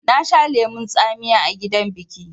Na sha lemon tsamiya a gidan biƙi